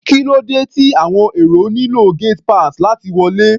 Kí ló dé tí àwọn èrò nílò gate pass láti wọlé?